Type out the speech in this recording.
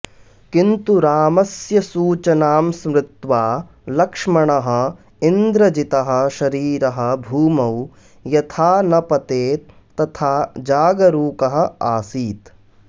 किन्तु रामस्य सूचनां स्मृत्वा लक्ष्मणः इन्द्रजितः शरीरः भूमौ यथा न पतेत् तथा जागरूकः आसीत्